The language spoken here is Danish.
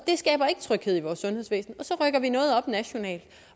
tryghed i vores sundhedsvæsen og så rykker vi noget op nationalt